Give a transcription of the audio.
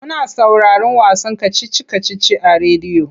Muna sauraron wasan kacici-kacici a rediyo.